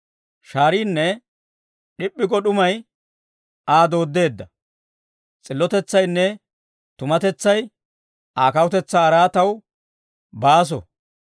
Shaariinne d'ip'p'i go d'umay Aa dooddeedda. S'illotetsaynne tumatetsay Aa kawutetsaa araataw baaso.